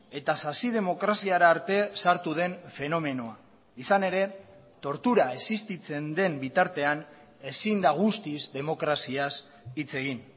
eta sasidemokraziara arte sartu den fenomenoa izan ere tortura existitzen den bitartean ezin da guztiz demokraziaz hitz egin